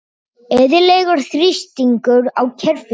Eðlilegur þrýstingur á kerfinu